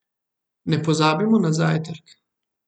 Ne pozabimo na zajtrk.